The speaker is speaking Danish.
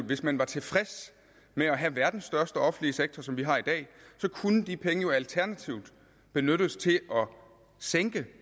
hvis man var tilfreds med at have verdens største offentlige sektor som vi har i dag kunne de penge jo alternativt benyttes til at sænke